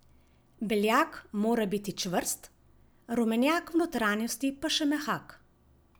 Beljak mora biti čvrst, rumenjak v notranjosti pa še mehak.